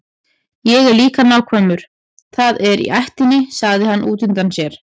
Ég er líka nákvæmur, það er í ættinni, sagði hann útundann sér.